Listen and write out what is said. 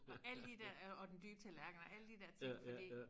Og alle de dér øh og den dybe tallerken og alle de dér ting fordi